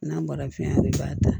N'a bɔra fiɲɛ de b'a ta